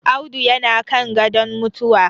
Audu yana kan gadon mutuwa